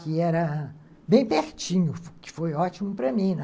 Que era bem pertinho, que que foi ótimo para mim, né?